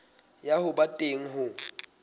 ya ho ba teng ho